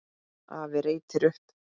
Afi reytir upp.